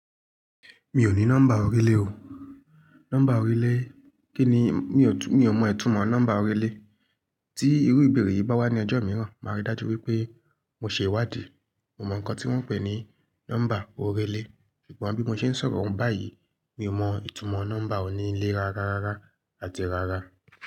Mi ò ní nọ́mbà orílẹ̀ o. Nọ́mbà orílẹ̀, kí ni? Mi ò mọ ìtumọ̀ nọ́mbà orílẹ̀. Tí irú ìbéèrè yìí bá wá ní ọjọ́ mìíràn, màá rí dájú wípé mo ṣe ìwádìí. Mo mọ̀ ǹkan tí wón ń pè ní nọ́mbà oríle, ṣùgbọ́n bí mo ṣe ń sọ̀rọ̀ oún báyìí, mi ò mọ ìtumọ̀ nọ́mbà onílẹ̀ rárá rárá àti rárá.